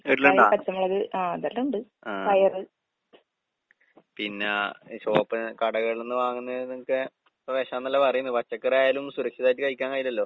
വീട്ടിലിണ്ടാ? ആഹ്. പിന്നാ ഈ ഷോപ്പ് കടകളിന്ന് വാങ്ങുന്നേനൊക്കെ ഇപ്പ വേഷാന്നല്ലേ പറയുന്നേ. പച്ചക്കറിയായാലും സുരക്ഷിതായിട്ട് കഴിക്കാൻ കഴിയില്ലല്ലോ.